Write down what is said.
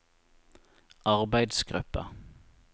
arbeidsgruppa